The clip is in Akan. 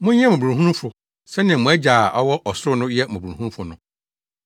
Monyɛ mmɔborɔhunufo sɛnea mo Agya a ɔwɔ ɔsoro no yɛ mmɔborɔhunufo no.